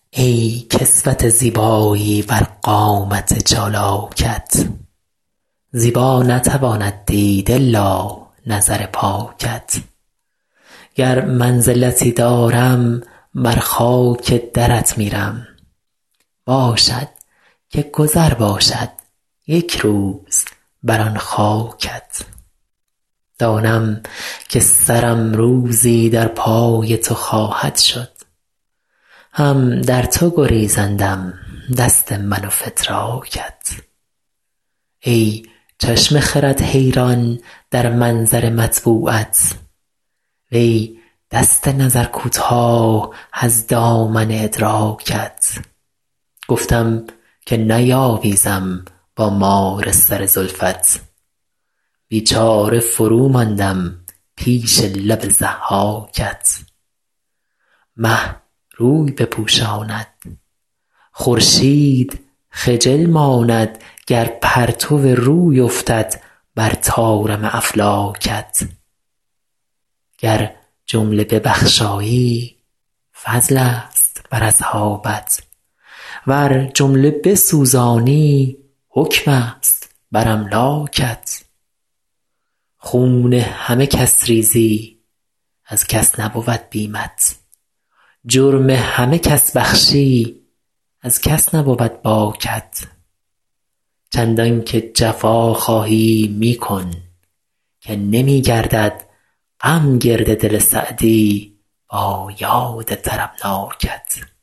ای کسوت زیبایی بر قامت چالاکت زیبا نتواند دید الا نظر پاکت گر منزلتی دارم بر خاک درت میرم باشد که گذر باشد یک روز بر آن خاکت دانم که سرم روزی در پای تو خواهد شد هم در تو گریزندم دست من و فتراکت ای چشم خرد حیران در منظر مطبوعت وی دست نظر کوتاه از دامن ادراکت گفتم که نیاویزم با مار سر زلفت بیچاره فروماندم پیش لب ضحاکت مه روی بپوشاند خورشید خجل ماند گر پرتو روی افتد بر طارم افلاکت گر جمله ببخشایی فضلست بر اصحابت ور جمله بسوزانی حکمست بر املاکت خون همه کس ریزی از کس نبود بیمت جرم همه کس بخشی از کس نبود باکت چندان که جفا خواهی می کن که نمی گردد غم گرد دل سعدی با یاد طربناکت